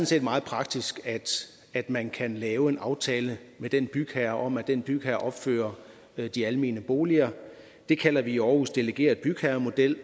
set meget praktisk at man kan lave en aftale med den bygherre om at den bygherre opfører de almene boliger det kalder vi i aarhus den delegerede bygherremodel